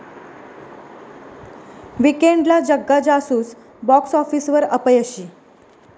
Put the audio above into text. वीकेण्डला 'Jagga Jasoos' box आॅफिसवर अपयशी